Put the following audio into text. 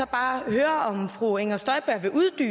bare høre fru inger støjberg